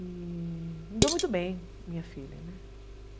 E me deu muito bem, minha filha, né?